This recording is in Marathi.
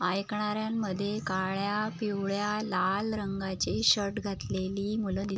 ऐकणाऱ्यांमद्धे काळ्या पिवळ्या लाल रंगाची शर्ट घातलेली मूल दी--